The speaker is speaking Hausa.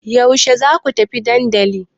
Yaushe za ku tafi dandali?